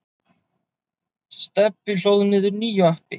Stebbi hlóð niður nýju appi.